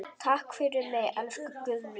Takk fyrir mig, elsku Guðný.